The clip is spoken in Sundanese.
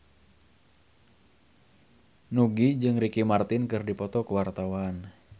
Nugie jeung Ricky Martin keur dipoto ku wartawan